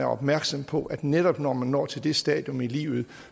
opmærksom på at netop når man når til det stadium i livet